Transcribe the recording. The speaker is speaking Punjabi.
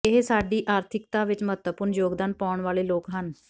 ਇਹ ਸਾਡੀ ਆਰਥਿਕਤਾ ਵਿਚ ਮਹੱਤਵਪੂਰਨ ਯੋਗਦਾਨ ਪਾਉਣ ਵਾਲੇ ਲੋਕ ਹਨ